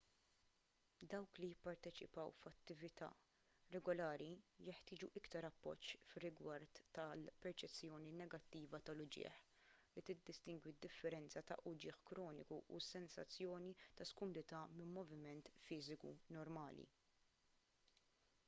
dawk li jipparteċipaw f'attività regolari jeħtieġu aktar appoġġ fir-rigward tal-perċezzjoni negattiva tal-uġigħ li tiddistingwi d-differenzi ta' uġigħ kroniku u sensazzjoni ta' skumdità minn moviment fiżiku normali